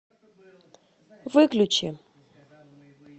выключи